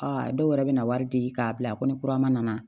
Aa dɔw yɛrɛ bɛ na wari di k'a bila a kɔ ni kura nana